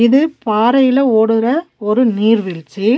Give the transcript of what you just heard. இது பாறையில ஓடுற ஒரு நீர்வீழ்ச்சி.